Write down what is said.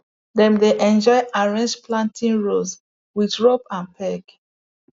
dem dey enjoy arrange planting rows with rope and peg